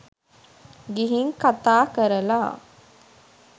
ගිහින් කතා කරලා